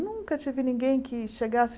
Nunca tive ninguém que chegasse.